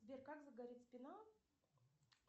сбер как загорит спина